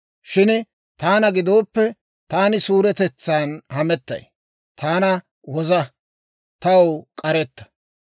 Shin taana gidooppe, taani suuretetsan hamettay. Taana woza; taw k'aretta.